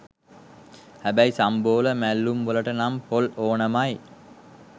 හැබැයි සම්බෝල මැල්ලුම් වලට නම් පොල් ඕනෑමයි.